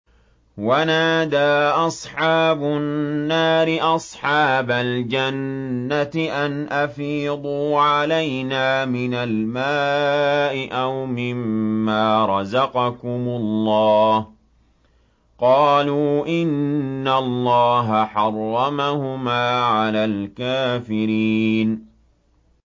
وَنَادَىٰ أَصْحَابُ النَّارِ أَصْحَابَ الْجَنَّةِ أَنْ أَفِيضُوا عَلَيْنَا مِنَ الْمَاءِ أَوْ مِمَّا رَزَقَكُمُ اللَّهُ ۚ قَالُوا إِنَّ اللَّهَ حَرَّمَهُمَا عَلَى الْكَافِرِينَ